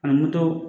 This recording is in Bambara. Ani moto